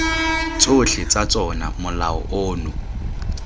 tsotlhe tsa tsona molao ono